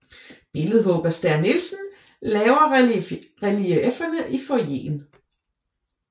Billedhugger Stæhr Nielsen laver reliefferne i foyeren